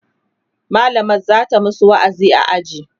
mallamar zata masu wa'azi a aji